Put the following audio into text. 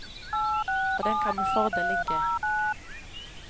Og den kan med fordel ligge.